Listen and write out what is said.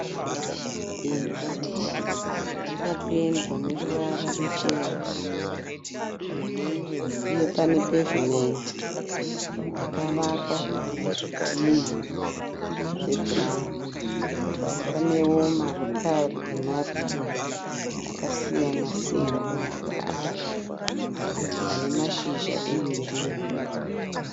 Imba yakapendwa neruvara ruchena uye pane (pavement) yakavakwa nezvidhinha zvebhurawuni panewo marokari emaruva akasiyana siyana. Maruva acho ane mashizha egirinhi.